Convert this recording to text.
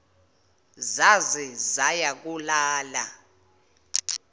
zaze zaya kolala